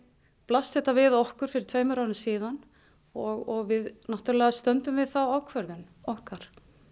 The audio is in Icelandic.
blasti þetta við okkur fyrir tveimur árum og við náttúrulega stöndum við þá ákvörðun okkar